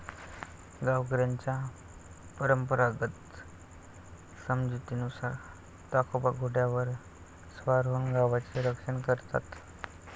गावकऱ्यांचा परंपरागत समजुतीनुसार ताकोबा घोड्यावर स्वार होऊन गावाचे रक्षण करतात